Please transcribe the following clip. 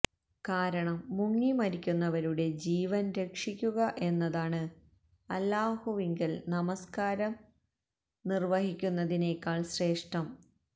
കാരണം മുങ്ങിമരിക്കുന്നവരുടെ ജീവന് രക്ഷിക്കുക എന്നതാണ് അല്ലാഹുവിങ്കല് നമസ്കാരം നിര്വഹിക്കുന്നതിനേക്കാള് ശ്രേഷ്ഠം